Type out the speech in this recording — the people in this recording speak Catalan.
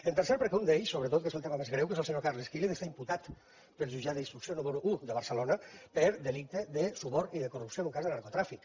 en tercer perquè un d’ells sobretot que és el tema més greu que és el senyor carles quílez estat imputat pel jutjat d’instrucció número un de barcelona per delicte de suborn i de corrupció en un cas de narcotràfic